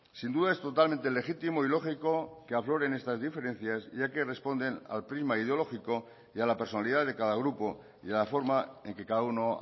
sin duda es totalmente legítimo y lógico que afloren estas diferencias ya que responden al clima ideológico y a la personalidad de cada grupo y a la forma en que cada uno